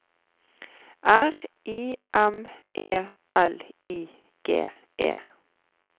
R I M E L I G E